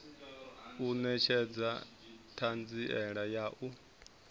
u netshedza thanziela ya u